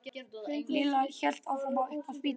Lilla hélt áfram upp á spítala til Stínu gömlu.